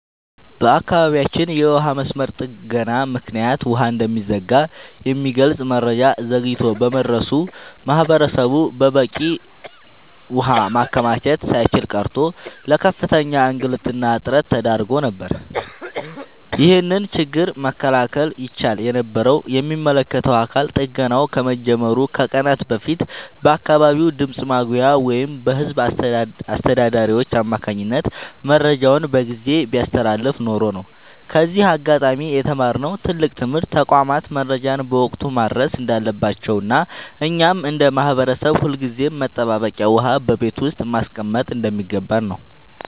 በአካባቢያችን የውሃ መስመር ጥገና ምክንያት ውሃ እንደሚዘጋ የሚገልጽ መረጃ ዘግይቶ በመድረሱ ማህበረሰቡ በቂ ውሃ ማከማቸት ሳይችል ቀርቶ ለከፍተኛ እንግልትና እጥረት ተዳርጎ ነበር። ይህንን ችግር መከላከል ይቻል የነበረው የሚመለከተው አካል ጥገናው ከመጀመሩ ከቀናት በፊት በአካባቢው ድምፅ ማጉያ ወይም በህዝብ አስተዳዳሪዎች አማካኝነት መረጃውን በጊዜ ቢያስተላልፍ ኖሮ ነው። ከዚህ አጋጣሚ የተማርነው ትልቅ ትምህርት ተቋማት መረጃን በወቅቱ ማድረስ እንዳለባቸውና እኛም እንደ ማህበረሰብ ሁልጊዜም መጠባበቂያ ውሃ በቤት ውስጥ ማስቀመጥ እንደሚገባን ነው።